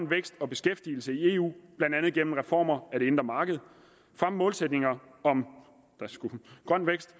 vækst og beskæftigelse i eu blandt andet gennem reformer af det indre marked fremme målsætningerne om grøn vækst